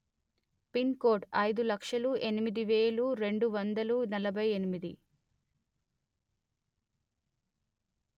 pin code అయిదు లక్షలు ఎనిమిది వెలు రెండు వందలు నలభై ఎనిమిది